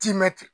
Timɛti